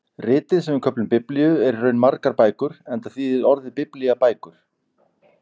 Ritið sem við köllum Biblíu er í raun margar bækur enda þýðir orðið biblía bækur.